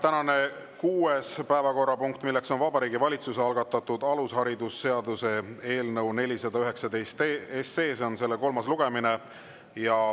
Tänane kuues päevakorrapunkt on Vabariigi Valitsuse algatatud alusharidusseaduse eelnõu 419 kolmas lugemine.